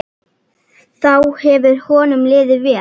Þá hefur honum liðið vel.